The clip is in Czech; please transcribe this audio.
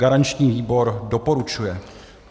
Garanční výbor doporučuje.